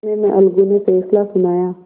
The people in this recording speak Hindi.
इतने में अलगू ने फैसला सुनाया